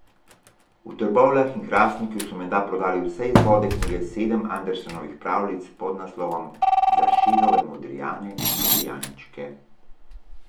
V Trbovljah in Hrastniku so menda prodali vse izvode knjige Sedem Andersenovih pravljic s podnaslovom Za šegave modrijane in modrijančke.